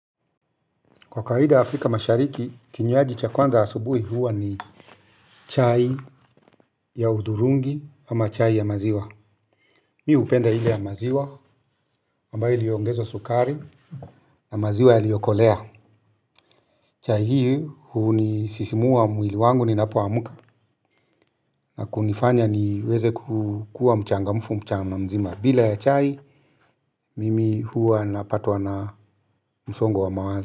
Kwa kawaida Afrika mashariki, kinywaji cha kwanza asubuhi huwa ni chai ya hudhurungi ama chai ya maziwa. Mi hupenda ile ya maziwa, ambayo iliongezwa sukari na maziwa yaliyokolea. Chai hii hunisisimua mwili wangu ninapoamka na kunifanya niweze kukua mchangamfu mchana mzima. Bila ya chai, mimi huwa napatwa na msongo wa mawazo.